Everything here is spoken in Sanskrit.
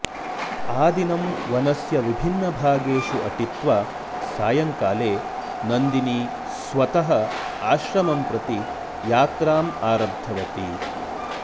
आदिनं वनस्य विभिन्नभागेषु अटित्वा सायङ्काले नन्दिनी स्वतः आश्रमं प्रति यात्राम् आरब्धवती